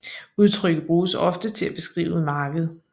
Udtrykket bruges ofte til at beskrive et marked